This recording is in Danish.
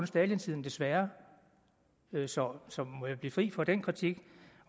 stalintiden desværre så må jeg blive fri for den kritik